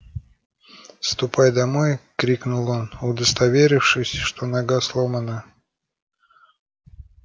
ступай домой крикнул он удостоверившись что нога сломана